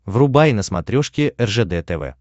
врубай на смотрешке ржд тв